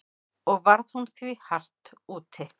Og varð hún því hart úti.